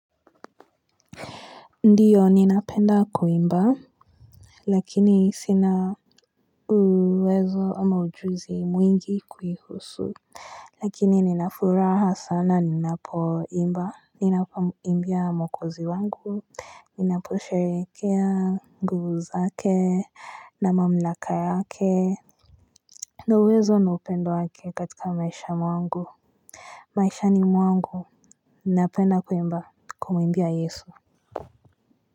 Ndiyo ninapenda kuimba lakini sina uwezo ama ujuzi mwingi kuihusu lakini nina furaha sana ninapoimba ninapomimbia mwokozi wangu ninaposherekea nguvu zake na mamlaka yake ndo uwezo na upendo wake katika maisha mwangu maishani mwangu ninapenda kuimba kumuimbia yesu.